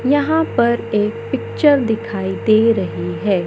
यहां पर एक पिक्चर दिखाई दे रही है।